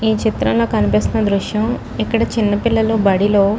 ఈ చిత్రంలో కనిపిస్తున్న దృశ్యం ఇక్కడ చిన్నపిల్లలు బడిలో --